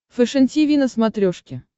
фэшен тиви на смотрешке